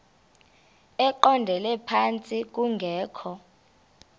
eqondele phantsi kungekho